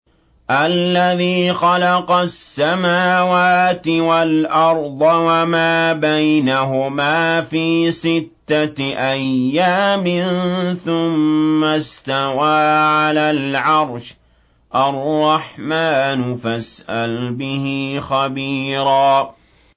الَّذِي خَلَقَ السَّمَاوَاتِ وَالْأَرْضَ وَمَا بَيْنَهُمَا فِي سِتَّةِ أَيَّامٍ ثُمَّ اسْتَوَىٰ عَلَى الْعَرْشِ ۚ الرَّحْمَٰنُ فَاسْأَلْ بِهِ خَبِيرًا